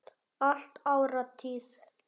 Allt áritað.